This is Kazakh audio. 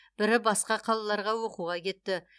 бірі басқа қалаларға оқуға кетті